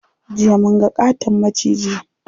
Jiya munga ƙaton maciji.